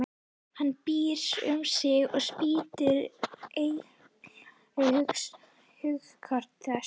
Hann býr um sig og spýr eitri í hugskot þess.